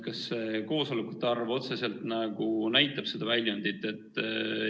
Kas koosolekute arv otseselt näitab seda väljundit?